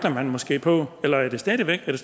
for